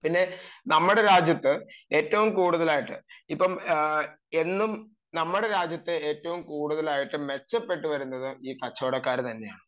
പിന്നെ നമ്മുടെ രാജ്യത്ത് ഏറ്റവും കൂടുതലായിട്ടു ഇപ്പോൾ മെച്ചപ്പെട്ടു വരുന്നത് ഈ കച്ചവടക്കാര് തന്നെയാണ്